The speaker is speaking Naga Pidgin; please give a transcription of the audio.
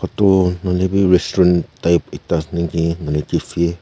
nahoi lebi restaurant type ekta ase naki noile cafe .